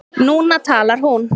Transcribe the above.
Núna talar hún.